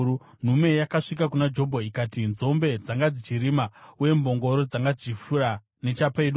nhume yakasvika kuna Jobho ikati, “Nzombe dzanga dzichirima uye mbongoro dzanga dzichifura nechapedyo,